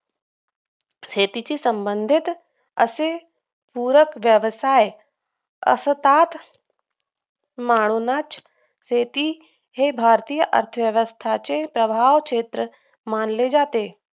शेतीच्या संबंधित अशी पूरक व्यवसाय असतात म्हणूनच शेती हे भारतीय अर्थव्यवस्थांचे प्रभाव क्षेत्र मानले जाते